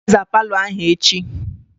I ga-aza palọ ahụ echi!